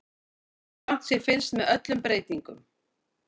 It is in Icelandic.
Grannt sé fylgst með öllum breytingum